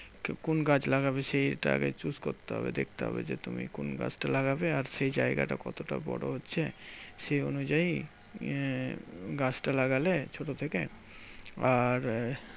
কোন গাছ লাগবে সেইটা আগে choose করতে হবে? দেখতে হবে যে তুমি কোন গাছটা লাগবে? আর সেই জায়গাটা কতটা বড় হচ্ছে? সেই অনুযায়ী আহ গাছটা লাগালে ছোট থেকে। আর আহ